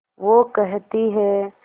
वो कहती हैं